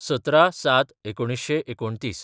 १७/०७/१९२९